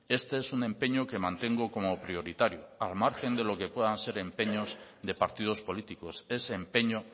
este es un empeño que mantengo como prioritario al margen de lo que puedan ser empeños de partidos políticos es empeño